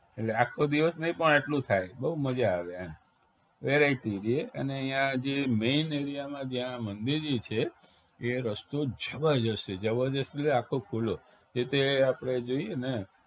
એટલે આખો દિવસ નહિ પણ એટલું થાય બવ મજા આવે એમ variety રીયે અને અહિયાં જે main area માં જ્યાં મંદિર જી છે એ રસ્તો જબરજસ્ત છે જબરજસ્ત એટલે આખો ખુલ્લો એ તે આપણે જોઈએને